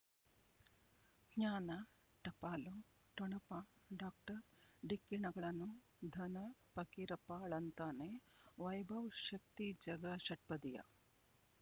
ಜ್ಞಾನ ಟಪಾಲು ಠೊಣಪ ಡಾಕ್ಟರ್ ಢಿಕ್ಕಿ ಣಗಳನು ಧನ ಫಕೀರಪ್ಪ ಳಂತಾನೆ ವೈಭವ್ ಶಕ್ತಿ ಝಗಾ ಷಟ್ಪದಿಯ